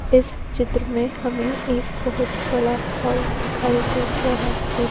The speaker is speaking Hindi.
इस चित्र में हमें एक बहुत बड़ा दिखाई दे रहा है।